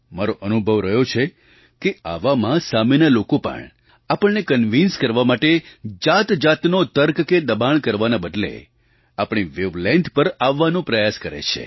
મારો અનુભવ રહ્યો છે કે આવામાં સામેના લોકો પણ આપણને કન્વિન્સ કરવા માટે જાતજાતનો તર્ક કે દબાણ કરવાના બદલે આપણી વૅવલૅન્થ પર આવવાનો પ્રયાસ કરે છે